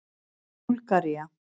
Búlgaría